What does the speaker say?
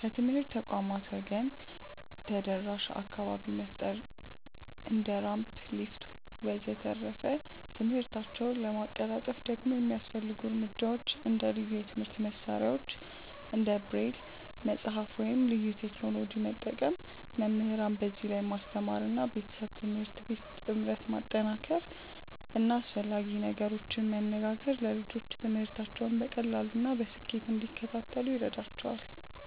ከትምህርት ተቋማት ወገን ደግሞ ተደራሽ አካባቢ መፍጠር እንደ ራምፕ፣ ሊፍት ወዘተ..።ትምህርታቸውን ለማቀላጠፍ ደግሞ የሚያስፈልጉ እርምጃዎች እንደ ልዩ የትምህርት መሳሪያዎች እንደ ብሬል መጽሐፍ ወይም ልዩ ቴክኖሎጂ መጠቀም፣ መምህራንን በዚህ ላይ ማስተማር እና ቤተሰብ-ትምህርት ቤት ጥምረት ማጠናከር እና አስፈላጊ ነገሮችን መነጋገር ለልጆቹ ትምህርታቸውን በቀላሉ እና በስኬት እንዲከታተሉ ይረዳቸዋል።